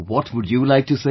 What would you like to say